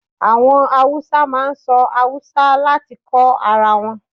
Àwọn Hausa máa ń sọ Haúsá láti kó ara wọn.